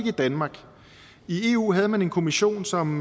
i danmark i eu havde man en kommission som